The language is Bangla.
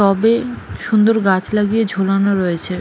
টবে সুন্দর গাছ লাগিয়ে ঝুলানো রয়েছে ।